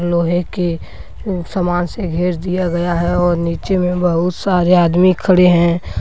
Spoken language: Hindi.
लोहे के अं समान से घेर दिया गया है और नीचे में बहुत सारे आदमी खड़े हैं।